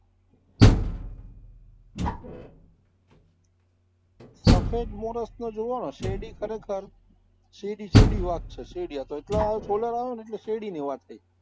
સફેદ મોરસને જોવોને તો શેરડી ખરેખર શેરડી-શેરડી વાત છે, શેરડી આતો solar આવ્યો ને એટલે શેરડીની વાત થઇ